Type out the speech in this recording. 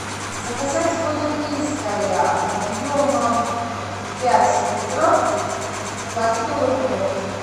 заказать воду минская объемом пять литров в пластиковой упаковке